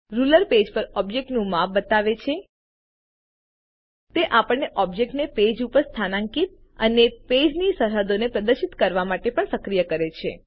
ruler page પર ઑબ્જેક્ટનું માપ બતાવે છે તે આપણને ઓબ્જેક્ટને પેજ ઉપર સ્થાન્કિત અને પેજની સરહદોને પ્રદર્શિત કરવા માટે પણ સક્રિય કરે છે